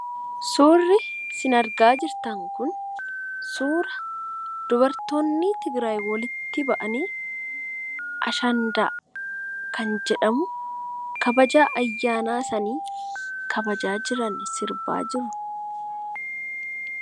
Suurri isin argaa jirtan kun suura dubartoonni Tigiraayi walitti ba'anii, Ashandaa kan jedhamu kabaja ayyaanaasaanii kabajaa jirani sirbaa jiru.